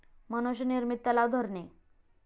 मनुष्य निर्मित तलाव, धरणे